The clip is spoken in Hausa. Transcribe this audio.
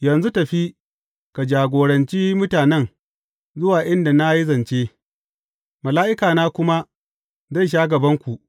Yanzu tafi, ka jagoranci mutanen zuwa inda na yi zance, mala’ikana kuma zai sha gabanku.